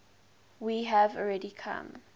we have already come